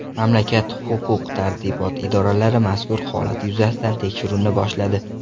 Mamlakat huquq-tartibot idoralari mazkur holat yuzasidan tekshiruvni boshladi.